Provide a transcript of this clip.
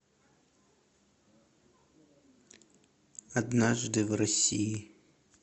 однажды в россии